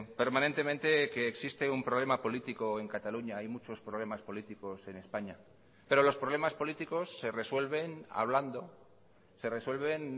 permanentemente que existe un problema político en cataluña hay muchos problemas políticos en españa pero los problemas políticos se resuelven hablando se resuelven